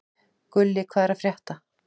Gulli, hvað er að frétta?